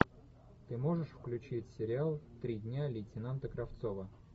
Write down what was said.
ты можешь включить сериал три дня лейтенанта кравцова